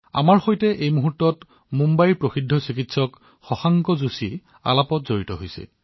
আমাৰ সৈতে বৰ্তমান মুম্বাইৰ প্ৰখ্যাত ড০ শশাংক যোশীজী উপস্থিত আছে